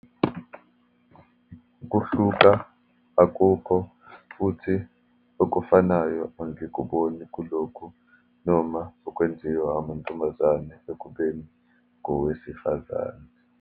Kuhluka akukho, futhi okufanayo angikuboni kulokhu, noma okwenziwa ngamantombazane ekubeni ngowesifazane.